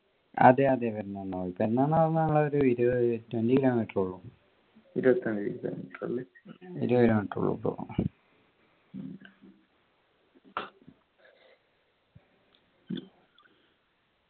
അതെ അതെ പെരുന്നാളിന് പോയി പെരുന്നാൾ നമ്മള് ഒരു ഇരുപത് twenty kilometer എ ഉള്ളു ഇരുപത് kilometer എ ഉള്ളു ഇപ്പോ